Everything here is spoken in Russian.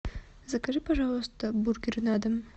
закажи пожалуйста бургер на дом